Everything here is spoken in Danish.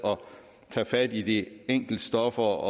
tage fat i de enkelte stoffer